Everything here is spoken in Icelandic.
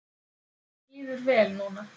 Mér líður vel núna.